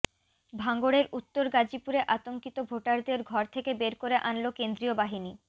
ভাঙড়ের উত্তর গাজিপুরে আতঙ্কিত ভোটারদের ঘর থেকে বের করে আনল কেন্দ্রীয় বাহিনী